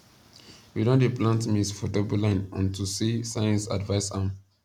we don dey plant maize for double line onto say science advice am